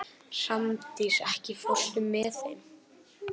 Hrafndís, ekki fórstu með þeim?